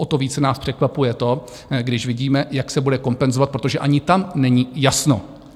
O to více nás překvapuje to, když vidíme, jak se bude kompenzovat, protože ani tam není jasno.